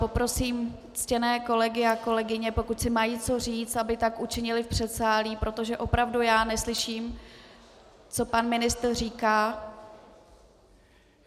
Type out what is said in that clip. Poprosím ctěné kolegy a kolegyně, pokud si mají co říci, aby tak učinili v předsálí, protože opravdu já neslyším, co pan ministr říká.